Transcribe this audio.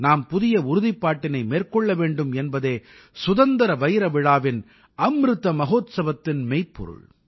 நாம் புதிய உறுதிப்பாட்டினை மேற்கொள்ள வேண்டும் என்பதே சுதந்திர வைரவிழாவின் அம்ருத மஹோத்சவத்தின் மெய்ப்பொருள்